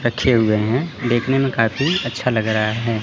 रखे हुए हैं देखने में काफी अच्छा लग रहा है।